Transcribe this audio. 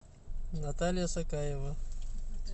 наталья сакаева